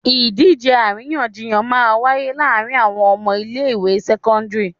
Ìdíje àríyànjiyàn máa ń wáyé láàárín àwọn ọmọ ilé ìwé sẹ́kọ́ńdírì.